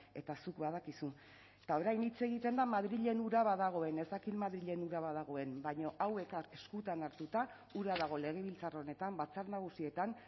eta zuk badakizu eta orain hitz egiten da madrilen ura badagoen ez dakit madrilen ura badagoen baina hau eskutan hartuta ura dago legebiltzar honetan batzar nagusietan